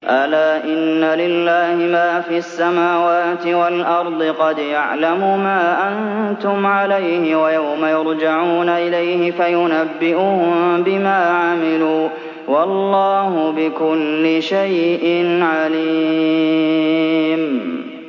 أَلَا إِنَّ لِلَّهِ مَا فِي السَّمَاوَاتِ وَالْأَرْضِ ۖ قَدْ يَعْلَمُ مَا أَنتُمْ عَلَيْهِ وَيَوْمَ يُرْجَعُونَ إِلَيْهِ فَيُنَبِّئُهُم بِمَا عَمِلُوا ۗ وَاللَّهُ بِكُلِّ شَيْءٍ عَلِيمٌ